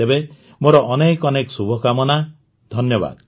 ତେବେ ମୋର ଅନେକ ଅନେକ ଶୁଭକାମନା ଧନ୍ୟବାଦ